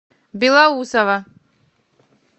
белоусово